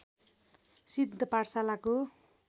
सिद्ध पाठशालाको